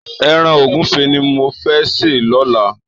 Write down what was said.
Èràn ógùfé ni mó fè sé lòlá